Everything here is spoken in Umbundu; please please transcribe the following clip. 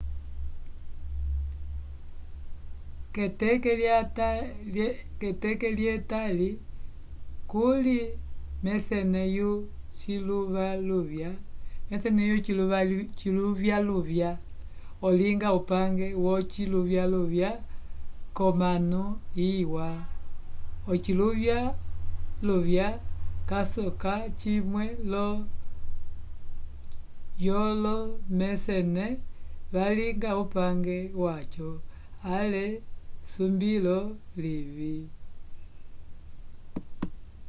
keteke lye tali kuly mesene yo ciluvyaluvya olinga upange yo ciluvyaluvya ko mano iwa ociluvyaluvya ca soka cimwe yo lomesene valinga upange waco le sumbilo livi